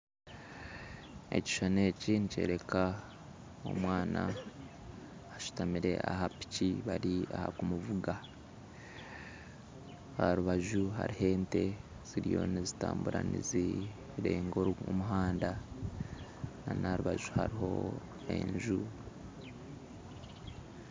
Ekishushani eki nikyoreka omwana bashutamire ahapiki bari aha kumuvuga aharubaju hariho ente ziriyo nizitambura nizirenga omuhanda nana aharubaju hariho enju